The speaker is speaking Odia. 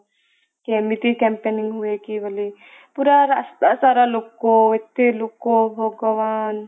କି ଏମିତି campaigning ହୁଏ କି ବୋଲି ପୁରା ରାସ୍ତା ସାରା ଲୋକ ଏତେ ଲୋକ ଭଗବାନ